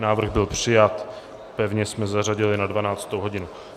Návrh byl přijat, pevně jsme zařadili na 12. hodinu.